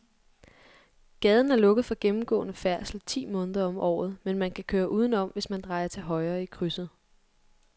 Gaden er lukket for gennemgående færdsel ti måneder om året, men man kan køre udenom, hvis man drejer til højre i krydset.